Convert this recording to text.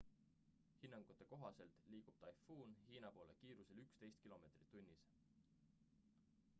hinnangute kohaselt liigub taifuun hiina poole kiirusel 11 km/h